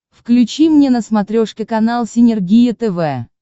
включи мне на смотрешке канал синергия тв